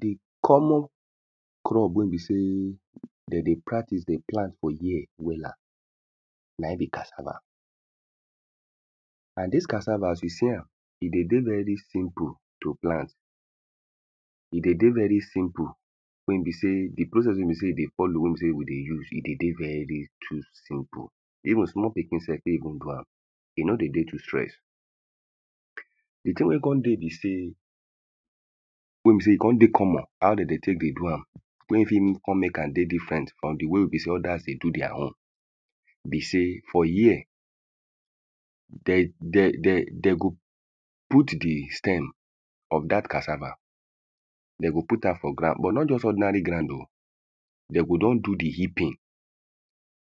The common crop wey be sey de dey practice, de pay am for here wella na im be cassava. And dis cassava as you see am. E dey dey very simple to plant. E dey dey very simple. Wey e be sey, the process wey e be sey we dey follow, weybe sey we dey use, e dey dey very just simple Even small pikin self fit even do am. E no dey dey too stress. The thing wey e con dey be sey, wey be sey e con dey common how de dey take dey do am. wey e fit make con make am dey diffrent from the way wey be sey other they do their own be sey, for here de de de de go put the stem from dat cassave. De go put am for ground but not just ordinary ground o. De go don do the heaping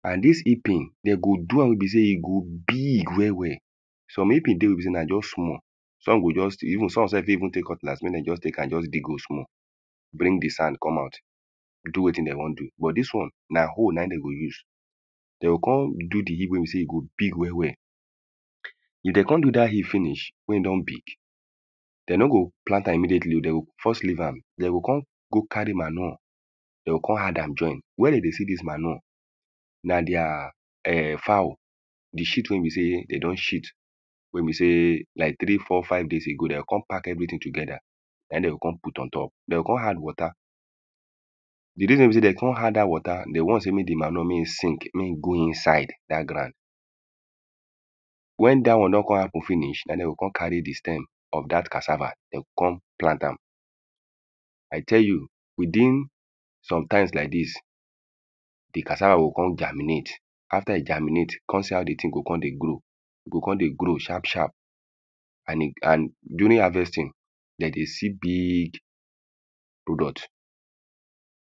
And dis heaping, de go do am wey be sey e go big well well. Some heaping dey wey be sey na just small, some go just still even some self fit even take cutlass make de just take am just de go small. Bring the sand come out do wetin de wan do. But dis one na hoe na im de go use. De o con do the heap wey be sey e go big well well. If de con do dat heap finish wey e don big, de no go plant am immediatelyo. De go first leave am. De go con go carry manure De o con add am join. Where de dey see dis manure na their ern fowl. The shit wey be sey de don shit. Wey be sey like three four five days ago. De o con pack everything together. Na im de go con put on top/ De go con add water. The day wey be sey de o con add dat water, de want sey make the manure mey e sink. Mey e go inside dat ground. When dat one don con happen finish, na im de go con carry the stem of dat cassava. De go con plant am. I tell you within some times like dis the cassava go con germinate. After e germinate, con see how the thing go con dey grow. E go con dey grow sharp sharp And e and during harvesting, de dey see big product.